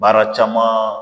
Baara caman